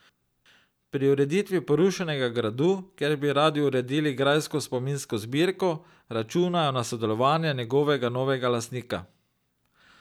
Pri ureditvi porušenega gradu, kjer bi radi uredili grajsko spominsko zbirko, računajo na sodelovanje njegovega novega lastnika.